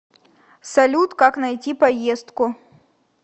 салют как найти поездку